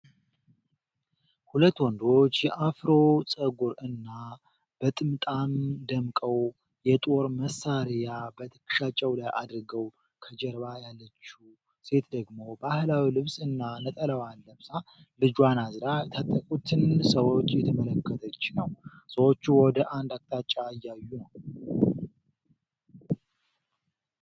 ሁለት ወንዶች በአፍሮ ጸጉር እና በጥምጣም ደምቀው፣ የጦር መሣሪያ በትከሻቸው ላይ አድርገዋል። ከጀርባ ያለችው ሴት ደግሞ፤ ባህላዊ ልብስ እና ነጠላዋን ለብሳ ልጇን አዝላ የታጠቁትን ሰዎች እየተመለከተች ነው። ሰዎቹ ወደ አንድ አቅጣጫ እያዩ ነው።